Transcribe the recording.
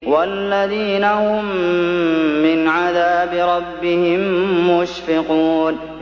وَالَّذِينَ هُم مِّنْ عَذَابِ رَبِّهِم مُّشْفِقُونَ